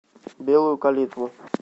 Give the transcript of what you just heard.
белую калитву